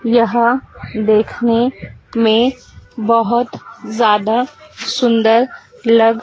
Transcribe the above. यह देखने में बहोत ज्यादा सुंदर लग--